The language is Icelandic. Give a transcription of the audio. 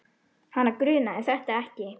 Hana grunaði þetta ekki.